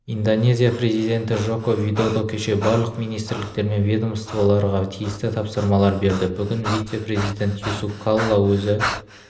индонезия президентіджоко видодо кеше барлық министрліктер мен ведомстволдарға тиісті тапсырмалар берді бүгін вице-президент юсуф калла өзі